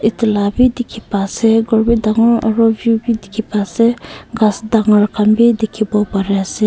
etu lah bhi dikhi pa ase ghor bi dangor aru view bhi dikhi pai ase ghass dangor khan bi dikhibo pari ase.